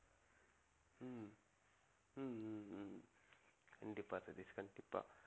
கண்டிப்பா சதீஷ் கண்டிப்பா